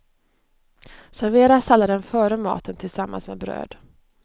Servera salladen före maten tillsammans med bröd.